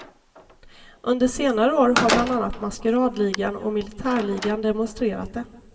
Under senare år har bland andra maskeradligan och militärligan demonstrerat det.